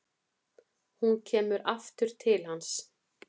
Hún kemur aftur til hans.